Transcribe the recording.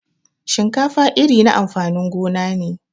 Shinkafa iri na amfanin gona ne.